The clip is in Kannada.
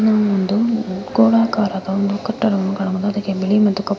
ಇದು ಒಂದು ಗೋಳಾಕಾರದ ಒಂದು ಕಟ್ಟಡವನ್ನು ಕಾಣಬಹುದು. ಅದಕ್ಕೆ ಬಿಳಿ ಮತ್ತು ಕಪ್ಪು--